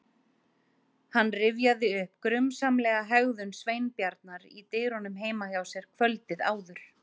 Hann rifjaði upp grunsamlega hegðun Sveinbjarnar í dyrunum heima hjá sér kvöldið áður.